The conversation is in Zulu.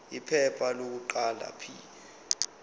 iphepha lokuqala p